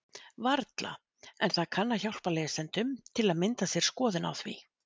Varla, en það kann að hjálpa lesendum til að mynda sér skoðun á því.